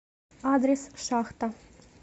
адрес шахта